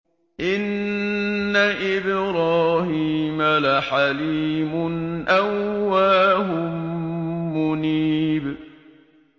إِنَّ إِبْرَاهِيمَ لَحَلِيمٌ أَوَّاهٌ مُّنِيبٌ